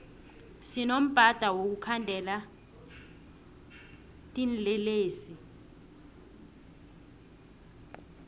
sinombadi wokukhandela tinlelesi